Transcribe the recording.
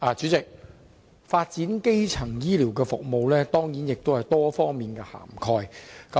主席，"發展基層醫療服務"當然要涵蓋很多方面。